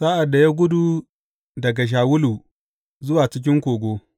Sa’ad da ya gudu daga Shawulu zuwa cikin kogo.